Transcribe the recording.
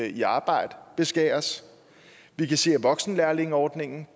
i arbejde beskæres vi kan se at voksenlærlingeordningen